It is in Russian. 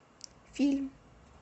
фильм